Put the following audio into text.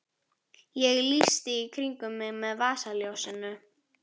Ég lýsti í kringum mig með vasaljósinu.